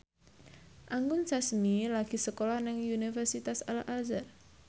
Anggun Sasmi lagi sekolah nang Universitas Al Azhar